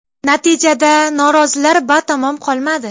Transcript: Natijada norozilar batamom qolmadi.